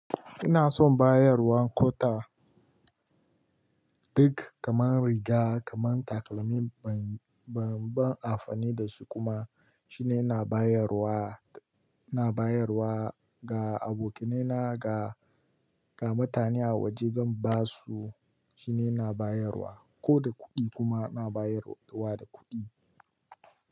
Ina son bayarwa kota duk kamar riga, kamar takalmi ban, ban, ban amfani da su kuma. Shine ina bayarwa, na bayarwa ga abokaina ga, ga mutane a waje zan ba su shine ina bayarwa. Ko da kuɗi kuma na bayarwa da kuɗi.